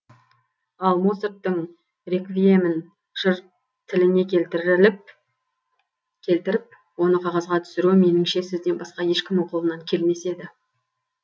ал моцарттың реквиемін жыр тіліне келтіріліп келтіріп оны қағазға түсіру меніңше сізден басқа ешкімнің қолынан келмес еді